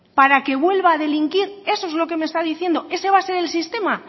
para que vuelva a delinquir eso es lo que me está diciendo ese va a ser el sistema